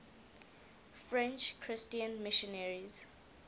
french christian missionaries